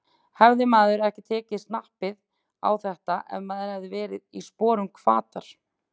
Hefði maður ekki tekið snappið á þetta ef maður hefði verið í sporum Hvatar?